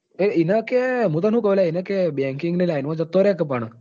એને કે હું તને શું કઉં લ્યા banking line માં જતો રે ને પણ.